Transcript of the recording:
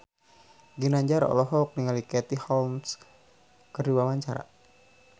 Ginanjar olohok ningali Katie Holmes keur diwawancara